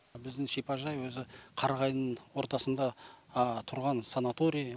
біздің шипажай өзі қарағайдың ортасында тұрған санаторий